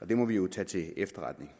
og det må vi jo tage til efterretning